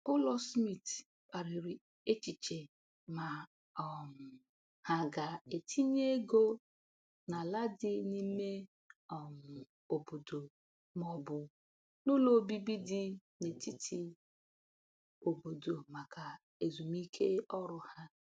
Ụlọ Smith kparịrị echiche ma um ha ga-etinye ego n’ala dị n’ime um obodo ma ọ bụ n’ụlọ obibi dị n’etiti obodo maka ezumike ọrụ ha.